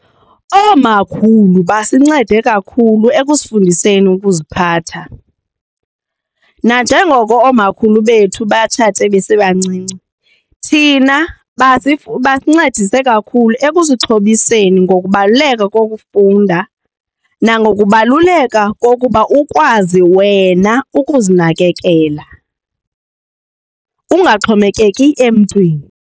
Oomakhulu basincede kakhulu ekusifundiseni ukuziphatha, nanjengoko oomakhulu bethu batshate besebancinci thina basincedise kakhulu ekusixhobiseni ngokubaluleka kokufunda nangokubaluleka kokuba ukwazi wena ukuzinakekela ungaxhomekeki emntwini.